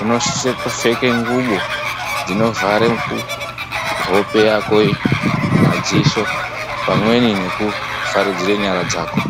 unosise kupfeka nguwo dzinovhara kuhope madziso pamweni nekuvharidzira nyara dzako.